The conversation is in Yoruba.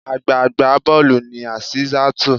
Àgbà agbá bọ́ọ̀lù ni Azeezatu.